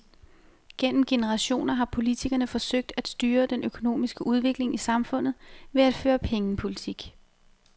Gennem generationer har politikerne forsøgt at styre den økonomiske udvikling i samfundet ved at føre pengepolitik.